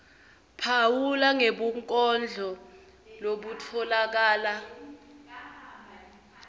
phawula ngebunkondlo lobutfolakala